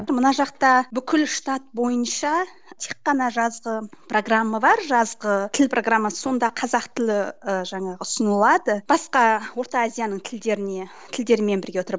мына жақта бүкіл штат бойынша тек қана жазғы программа бар жазғы тіл программасы сонда қазақ тілі ііі жаңағы ұсынылады басқа орта азияның тілдеріне тілдермен бірге тұрып